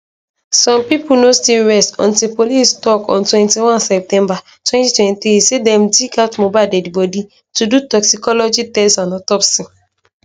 some pipo no still rest until police tok on 21 september 2023 say dem dig out mohbad deadi bodi to do toxicology tests and autopsy